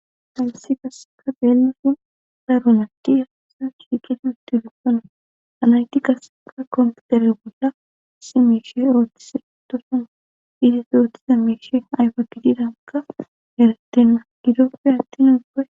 hayisi qaseka deelisun daruna ti ifaisan shiiqeti utti dukona anayti kaseka kompitere bolla simeshi rootise itusona ides ootise meshi ayfa kididanaka erettenna gidoppe attin uga